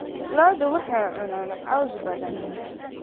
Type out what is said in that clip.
Lo'du waxay cunaan caws badan.